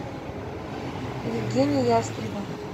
евгений ястребов